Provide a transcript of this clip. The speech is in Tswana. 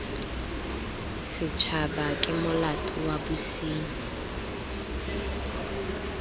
setshaba ke molato wa bosenyi